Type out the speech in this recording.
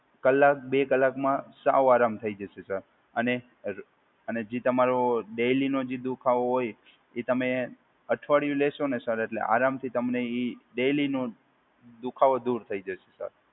કલાક બે કલાક માં સાવ આરામ થઈ જશે સર અને અર અને જે તમારો ડેઈલીનો જે દુખાવો હોય એ તમે અઠવાડિયું લેશોને સર એટલે આરામથી તમને એ ડેઈલીનો દુખાવો દૂર થઈ જશે સર.